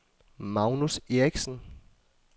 Magnus Eriksen